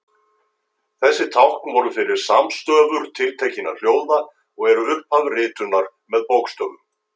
þessi tákn voru fyrir samstöfur tiltekinna hljóða og eru upphaf ritunar með bókstöfum